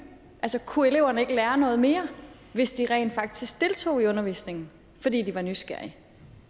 altså kunne eleverne ikke lære noget mere hvis de rent faktisk deltog i undervisningen fordi de var nysgerrige